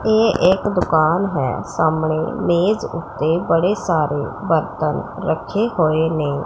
ਇਹ ਇੱਕ ਦੁਕਾਨ ਹੈ ਸਾਹਮਣੇ ਮੇਜ ਉੱਤੇ ਬੜੇ ਸਾਰੇ ਬਰਤਨ ਰੱਖੇ ਹੋਏ ਨੇ।